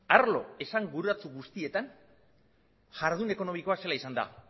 arlo esanguratsu guztietan jardun ekonomikoa zelan izan den